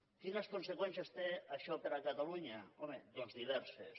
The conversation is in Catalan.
quines conseqüències té això per a catalunya home doncs diverses